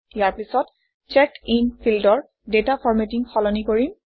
ইয়াৰ পিছত checked in ফিল্ডৰ data formatting সলনি কৰিম